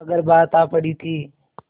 मगर बात आ पड़ी थी